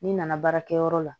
N'i nana baarakɛyɔrɔ la